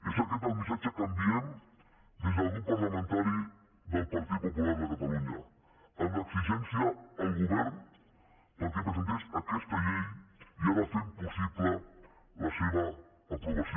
és aquest el missatge que enviem des del grup parlamentari del partit popular de catalunya amb l’exigència al govern perquè presentés aquesta llei i ara fem possible la seva aprovació